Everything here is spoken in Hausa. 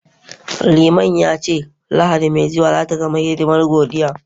Liman ya ce, Lahadi mai zuwa za ta zama hidimar godiya